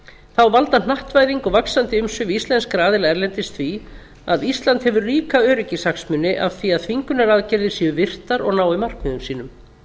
þá valda hnattvæðing og vaxandi umsvif íslenskra aðila erlendis því að ísland hefur ríka öryggishagsmuni af því að þvingunaraðgerðir séu virtar og nái markmiðum sínum